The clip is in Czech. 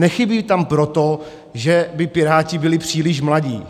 Nechybí tam proto, že by Piráti byli příliš mladí.